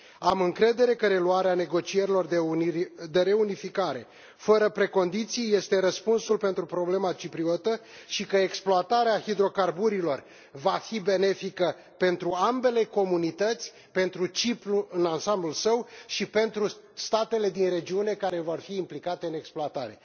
Am încredere că reluarea negocierilor de reunificare fără precondiții este răspunsul pentru problema cipriotă, și că exploatarea hidrocarburilor va fi benefică pentru ambele comunități, pentru Cipru în ansamblul său, și pentru statele din regiune, care vor fi implicate în exploatare.